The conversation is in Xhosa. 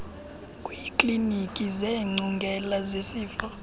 kwiiklinikhi zeengcungela zesifo